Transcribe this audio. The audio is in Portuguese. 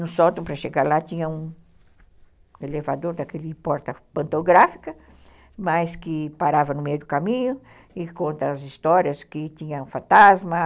No sótão, para chegar lá, tinha um elevador daquele porta pantográfica, mas que parava no meio do caminho e conta as histórias que tinha um fantasma.